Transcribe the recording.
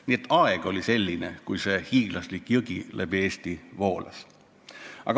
Nii et aeg oli selline, kui see hiiglaslik jõgi läbi Eesti voolas.